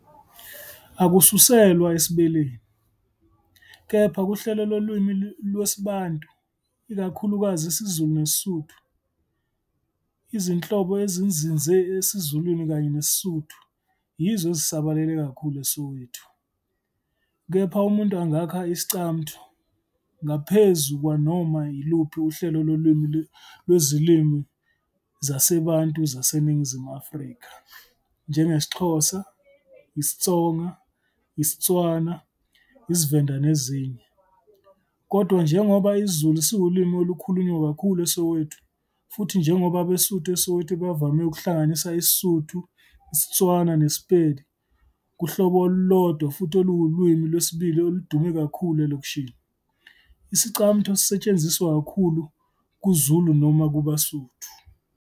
Akususelwa esiBeleni, kepha kuhlelo lolimi lwesiBantu, ikakhulukazi isiZulu nesiSuthu. Izinhlobo ezinzinze esiZulwini kanye nesiSuthu yizo ezisabalele kakhulu eSoweto, kepha umuntu angakha iScamtho ngaphezu kwanoma iluphi uhlelo lolimi lwezilimi zaseBantu zaseNingizimu Afrika, njengesiXhosa, isiTsonga, isiTswana, isiVenda nezinye. Kodwa njengoba isiZulu siwulimi olukhulunywa kakhulu eSoweto, futhi njengoba abeSuthu eSoweto bevame ukuhlanganisa isiSuthu, iSetswana neSepedi kuhlobo olulodwa futhi olulwimi lwesibili oludume kakhulu elokishini, isi-Iscamtho sisetshenziswa kakhulu "ku" Zulu noma "ku" AbeSuthu.